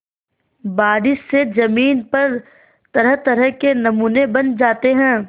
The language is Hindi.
बारिश से ज़मीन पर तरहतरह के नमूने बन जाते हैं